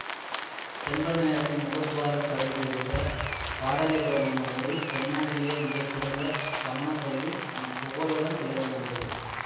தென்பெண்ணையாற்றின் முகத்துவாரத்தருகில் இருந்த பாடலிபுரம் என்னும் ஊரில் தென்னாட்டிலேயே மிக சிறந்த சமணப்பள்ளி புகழுடன் விளங்கி வந்தது